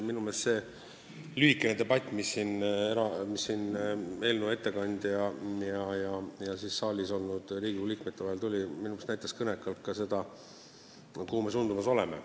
Minu meelest see lühikene debatt, mis siin eelnõu ettekandja ja saalis olnud Riigikogu liikmete vahel oli, näitas kõnekalt seda, kuhu me suundumas oleme.